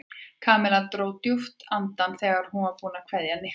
Kamilla dró djúpt andann þegar hún var búin að kveðja Nikka.